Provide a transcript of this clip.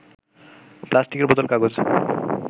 প্লাস্টিকের বোতল, কাগজ